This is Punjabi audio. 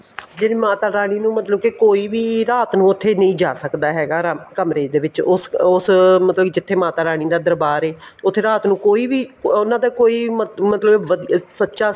ਜਿਹੜੀ ਮਾਤਾ ਰਾਣੀ ਨੂੰ ਮਤਲਬ ਕੇ ਕੋਈ ਵੀ ਰਾਤ ਨੂੰ ਉੱਥੇ ਨਹੀਂ ਜਾਂ ਸਕਦਾ ਹੈਗਾ ਕਮਰੇ ਦੇ ਵਿੱਚ ਉਸ ਮਤਲਬ ਕੀ ਜਿੱਥੇ ਮਾਤਾ ਰਾਣੀ ਦਾ ਦਰਬਾਰ ਏ ਉੱਥੇ ਰਾਤ ਨੂੰ ਕੋਈ ਵੀ ਉਹਨਾ ਦਾ ਕੋਈ ਮਤਲਬ ਵਧੀਆ ਸੱਚਾ